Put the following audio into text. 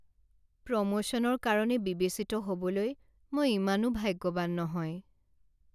প্ৰমোশ্যনৰ কাৰণে বিবেচিত হ'বলৈ মই ইমানো ভাগ্যৱান নহয়।